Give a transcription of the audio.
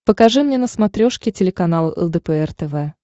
покажи мне на смотрешке телеканал лдпр тв